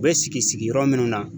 U be sigi sigiyɔrɔ munnu na.